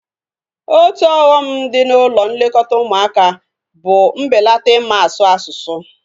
Otu ọghọm dị na ụlọ nlekọta ụmụaka bụ mbelata ịma asụ asụsụ